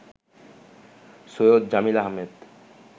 Syed Jamil Ahmed